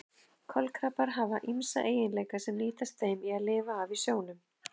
Kolkrabbar hafa ýmsa eiginleika sem nýtast þeim í að lifa af í sjónum.